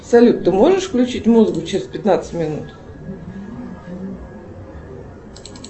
салют ты можешь включить музыку через пятнадцать минут